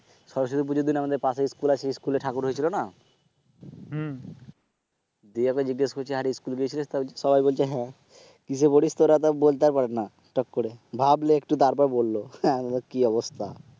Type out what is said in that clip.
সরস্বতী পূজার দিন আমাদের পাশে স্কুল আছে স্কুল এ ঠাকুর হয়েছিল না, দিয়ে ওকে জিজ্ঞেস করছি আরে স্কুল গেছিলিস সবাই বলছে হ্যাঁ, কিসে পড়িস তোরা তার বলতে পারে না চট করে ভাবলে একটু তারপর বলল, হম ভাব কি অবস্থা